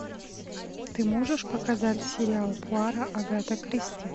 ты можешь показать сериал пуаро агаты кристи